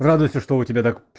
радуйся что у тебя так